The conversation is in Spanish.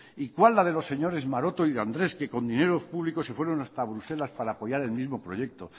y cuál la de los señores maroto y de andrés que con dineros públicos se fueron hasta bruselas para apoyar el mismo proyecto